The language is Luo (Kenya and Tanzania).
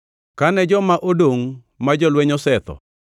Kane joma odongʼ ma jolweny osetho,